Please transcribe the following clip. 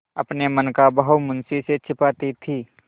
अपने मन का भाव मुंशी से छिपाती थी